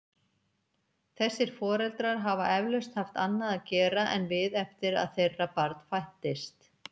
Þessir foreldrar hafa eflaust haft annað að gera en við eftir að þeirra barn fæddist.